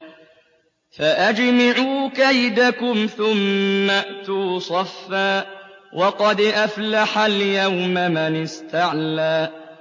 فَأَجْمِعُوا كَيْدَكُمْ ثُمَّ ائْتُوا صَفًّا ۚ وَقَدْ أَفْلَحَ الْيَوْمَ مَنِ اسْتَعْلَىٰ